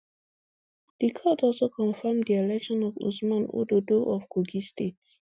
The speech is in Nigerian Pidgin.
di court also confam di election of usman ododo of kogi state